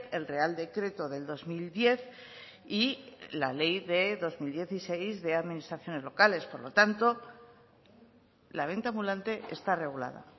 el real decreto del dos mil diez y la ley de dos mil dieciséis de administraciones locales por lo tanto la venta ambulante está regulada